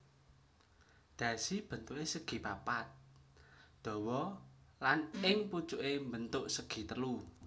Dhasi bentuké segipapat dawa lan ing pucuké mbentuk segitelu